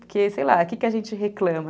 Porque, sei lá, o que a gente reclama?